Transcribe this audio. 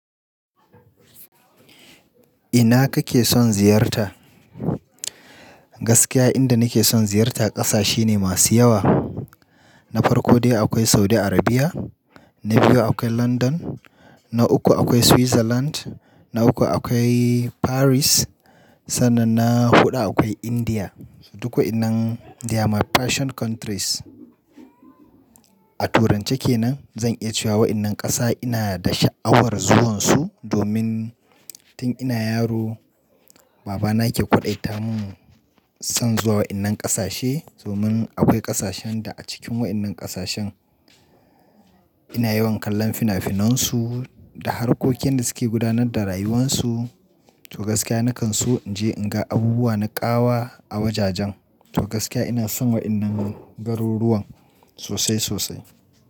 Ina kake son ziyarta? Gaskiya inda nake son ziyarta ƙasashe ne masu yawa. Na farko dai akwai Saudi Arabia, na biyu akwai London, na uku akwai Switzerland, na uku akwai Paris, sannan na huɗu akwai India. Duk wa'iannan they are my passion countries. A turance ke nan zan iya cewa waɗannan ƙasa ina da sha'awar zuwansu. Domin tun ina yaro babana ke kwadaita mu son zuwa waɗannan ƙasashe. Domin akwai ƙasashen da a cikin waɗannan ƙasashen ina yawan kallon fina-finansu da harkokin da suke gudanar da rayuwansu. To gaskiya na kan so in je in ga abubuwa na ƙawa a wajajen. To gaskiya ina son waɗannan garuruwan sosai sosai.